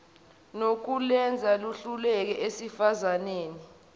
nokulwenza luhluke esifazaneni